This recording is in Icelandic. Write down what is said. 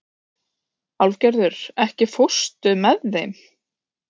Álfgerður, ekki fórstu með þeim?